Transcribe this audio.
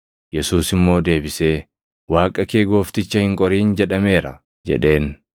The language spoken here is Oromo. Yesuus immoo deebisee, “ ‘Waaqa kee Goofticha hin qorin’ + 4:12 \+xt KeD 6:16\+xt* jedhameera” jedheen.